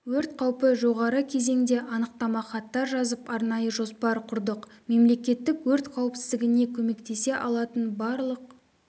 өрт қаупі жоғары кезеңде анықтама хаттар жазып арнайы жоспар құрдық мемлекеттік өрт қауіпсіздігіне көмектесе алатын барлық